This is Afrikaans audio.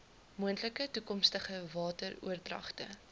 moontlike toekomstige wateroordragte